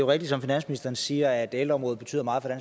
rigtigt som finansministeren siger at ældreområdet betyder meget